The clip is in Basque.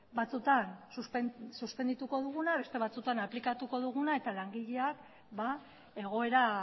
batzutan suspendituko duguna beste batzutan aplikatuko duguna eta langileak egoera